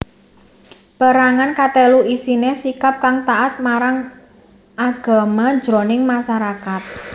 Pérangan katelu isiné sikap kang taat marang agama jroning masarakat